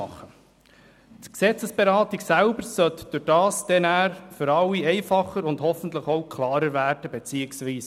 Dadurch sollte die eigentliche Gesetzesberatung für alle etwas einfacher und auch klarer sein.